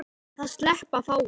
Það sleppa fáir.